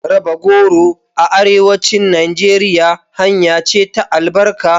Raba goro a Arewacin Najeriya hanya ce ta albarka.